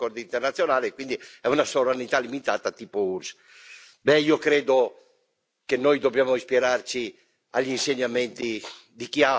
Io credo che noi dobbiamo ispirarci agli insegnamenti di chi ha una certa idea dell'Europa, come Papa Francesco.